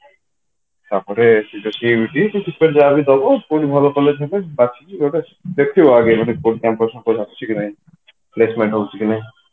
ତାପରେ ଯଦି ଏମିତି ବହୁତ ଭଲ college ହବ ବାକି ଏଇଗୁଡା ସବୁ ଦେଖିବ ଆଗେ campus ଫାମ୍ପସ ଆସୁଛି କି ନାହିଁ placement ହଉଛି କି ନାହିଁ